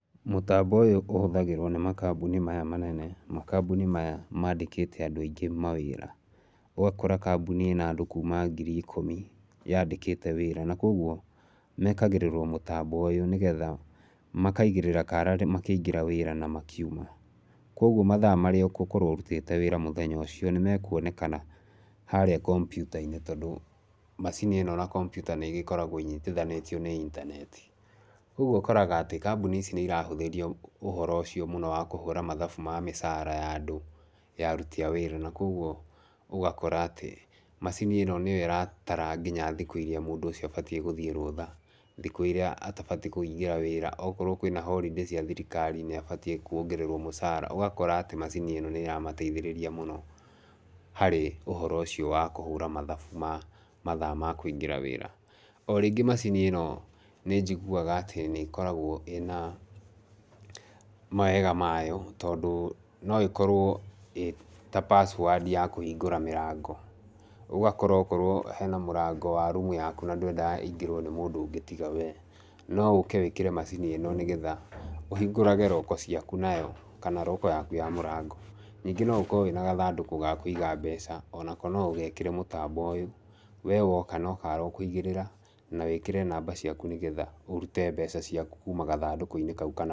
Mũtambo ũyũ ũhũthagĩrwo nĩ makambuni maya manene, makambuni maya maandĩkĩte andũ aingĩ mawĩra. Ũgakora kambuni ĩna andũ kuuma ngiri ikũmi yandĩkĩte wĩra. Na koguo mekagĩrĩrwo mũtambo ũyũ nĩgetha makaigĩrĩra kara makĩingĩra wĩra na makiuma. Koguo mathaa marĩa ũgũkorwo ũrutĩte wĩra mũthenya ũcio nĩ mekuonekana harĩa kompiuta-inĩ tondũ macini ĩno na kompiuta nĩ igĩkoragwo inyitithanĩtio nĩ intaneti. Koguo ũkoraga atĩ kambuni icio nĩ irahũthĩrio ũhoro ũcio mũno wa kũhũra mathabu ma mĩcara ya andũ ya aruti a wĩra. Ũguo ũgakora atĩ macini ĩyo nĩyo ĩratara nginya thikũ irĩa mũndũ ũcio abatiĩ gũthiĩ rũtha, thikũ irĩa atabatiĩ kũingĩra wĩra, pkorwo kwina holiday cia thirikari nĩ abatiĩ kuongererwo mũcara. Ũgakora atĩ macini ĩno nĩ ĩramateithĩrĩria mũno harĩ ũhoro ũcio wa kũhũra mathabu ma mathaa ma kũingĩra wĩra. O rĩngĩ macini ĩno nĩ njiguaga atĩ nĩ ĩkoragwo ĩna mawega mayo tondũ no ĩkorwo ĩĩ ta password ya kũhingũra mĩrangao. Ũgakora okorwo hena mũrango wa room yaku na ndwendaga ĩingĩrwo nĩ mũndũ ũngĩ tiga we, no ũke wĩkĩre macini ĩno nĩgetha ũhingũrage lock ciaku nayo kana lock yaku ya mũrango. Ningĩ no ũkorwo wĩna gathandũkũ ga kũiga mbeca, onako no ũgekĩre mũtambo ũyũ. We woka no kara ũkũigĩrĩra na wĩkĩre namba ciaku nĩgetha ũrute mbeca ciaku kuuma gathandũkũ-inĩ kau kana...